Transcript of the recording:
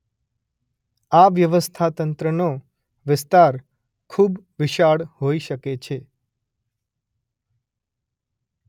આ વ્યવસ્થાતંત્રનો વિસ્તાર ખૂબ વિશાળ હોઈ શકે છે.